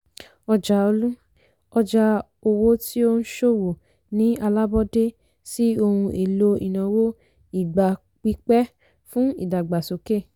ọjà ọlú - ọjà owó tí ó ń ṣòwò ní àlábọ̀dé sí ohun èlò ìnáwó ìgbà pípẹ́ fún ìdàgbàsókè.